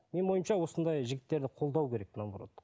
менің ойымша осындай жігіттерді қолдау керек наоборот